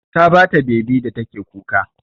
Ta ba ta bebi da take kuka.